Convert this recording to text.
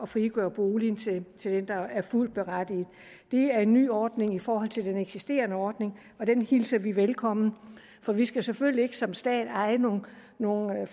frigøre boligen til den der er fuldt berettiget til den det er en ny ordning i forhold til den eksisterende ordning og den hilser vi velkommen for vi skal selvfølgelig ikke som stat eje nogle nogle